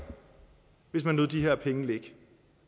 hvis man lod de her penge ligge